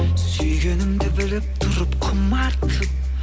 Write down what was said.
сүйгенімді біліп тұрып құмартып